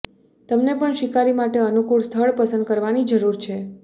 તમે પણ શિકારી માટે અનુકૂળ સ્થળ પસંદ કરવાની જરૂર છે